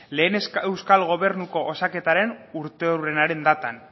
lehen euskal gobernuko osaketaren urteurrenaren datan